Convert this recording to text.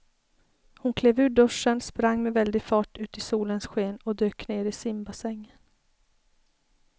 Hon klev ur duschen, sprang med väldig fart ut i solens sken och dök ner i simbassängen.